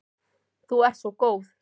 Þú ert svo góð.